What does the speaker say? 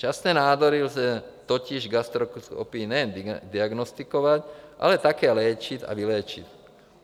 Včasné nádory lze totiž gastroskopií nejen diagnostikovat, ale také léčit a vyléčit.